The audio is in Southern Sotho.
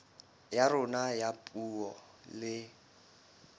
ya rona ya puo le